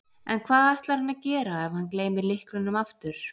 En hvað ætlar hann að gera ef hann gleymir lyklunum aftur?